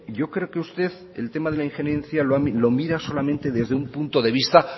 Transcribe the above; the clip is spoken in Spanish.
yo creo que usted el tema de la injerencia lo mira solamente desde un punto de vista